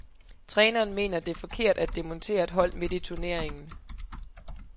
Træneren mener, det er forkert at demontere et hold midt i turneringen.